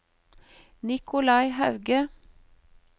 Nikolai Hauge